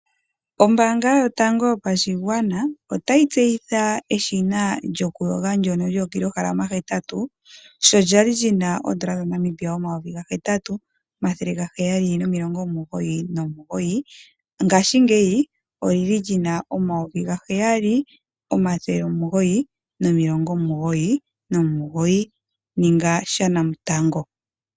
Ombaanga yotango yopashigwana otayi tseyitha eshina lyokuyoga ndyono lyookilohalama hetatu, sho lya li li na N$ 8 799, ngaashingeyi oli na N$ 7 999. Ninga shanamutango!